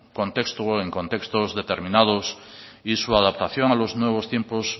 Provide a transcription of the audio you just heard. contexto o en contextos determinados y su adaptación a los nuevos tiempos